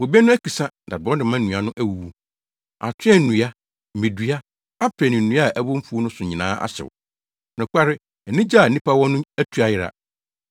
Bobe no akisa na borɔdɔma nnua no awuwu. Atoaa nnua, mmedua, aprɛ ne nnua a ɛwɔ mfuw no so nyinaa ahyew. Nokware, anigye a nnipa wɔ no atu ayera.